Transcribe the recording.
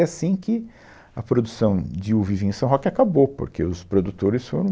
E assim que a produção de uva e vinho em São Roque acabou, porque os produtores foram...